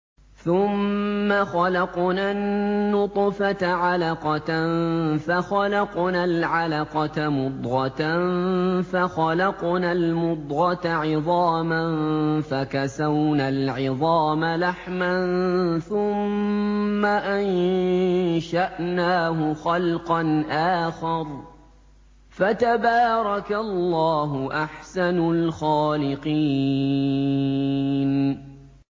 ثُمَّ خَلَقْنَا النُّطْفَةَ عَلَقَةً فَخَلَقْنَا الْعَلَقَةَ مُضْغَةً فَخَلَقْنَا الْمُضْغَةَ عِظَامًا فَكَسَوْنَا الْعِظَامَ لَحْمًا ثُمَّ أَنشَأْنَاهُ خَلْقًا آخَرَ ۚ فَتَبَارَكَ اللَّهُ أَحْسَنُ الْخَالِقِينَ